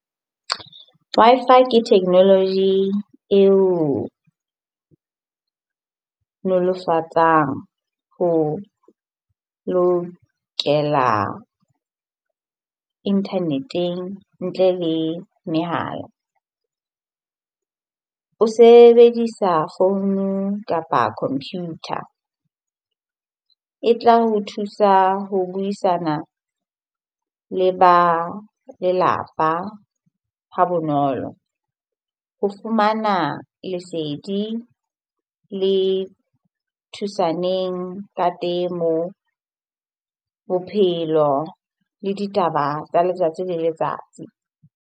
Wi-Fi ke technology e o nolofatsang ho lokela internet-eng ntle le mehala. O sebedisa founung kapa computer, e tla ho thusa ho buisana le ba lelapa ha bonolo, ho fumana lesedi le thusaneng ka temo, bophelo le ditaba tsa letsatsi le letsatsi.